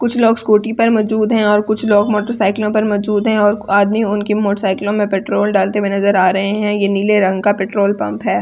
कुछ लोग स्कूटी पर मौजूद हैं और कुछ लोग मोटर साइकिलों पर मौजूद हैं और आदमी उनकी मोटर साइकिलों में पेट्रोल डालते हुए नजर आ रहा है यह नीले रंग का पेट्रोल पंप है।